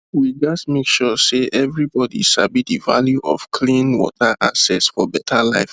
we gats make sure say everybody sabi the value of clean water access for better life